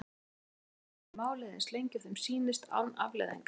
Geta þeir bara dregið málið eins lengi og þeim sýnist án afleiðinga?